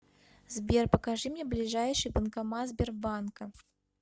сбер покажи мне ближайший банкомат сбербанка